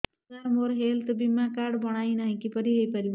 ସାର ମୋର ହେଲ୍ଥ ବୀମା କାର୍ଡ ବଣାଇନାହିଁ କିପରି ହୈ ପାରିବ